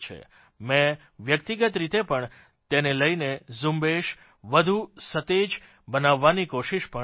મેં વ્યકિતગત રીતે પણ તેને લઇને ઝુંબેશ વધુ સતેજ બનાવવાની કોશિશ પણ કરી છે